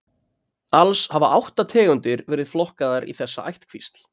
Alls hafa átta tegundir verið flokkaðar í þessa ættkvísl.